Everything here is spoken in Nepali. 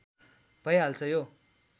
भई हाल्छ यो